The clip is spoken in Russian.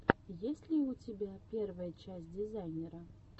есть ли у тебя первая часть дизайнера